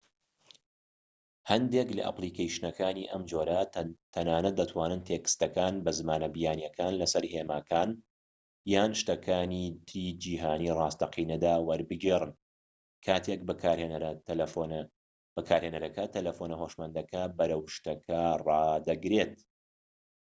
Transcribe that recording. هەندێک لە ئەپلیکەیشنەکانی ئەم جۆرە تەنانەت دەتوانن تێکستەکان بە زمانە بیانییەکان لەسەر هێماکان یان شتەکانی تری جیهانی ڕاستەقینەدا وەربگێڕن کاتێک بەکارهێنەرەکە تەلەفۆنە هۆشمەندەکە بەرەو شتەکە ڕادەگرێت